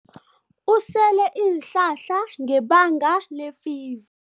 Usele iinhlahla ngebanga lefiva.